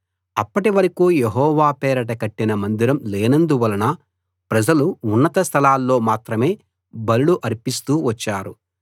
అప్పటి వరకూ యెహోవా పేరట కట్టిన మందిరం లేనందువలన ప్రజలు ఉన్నత స్థలాల్లో మాత్రమే బలులు అర్పిస్తూ వచ్చారు